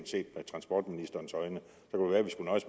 set med transportministerens øjne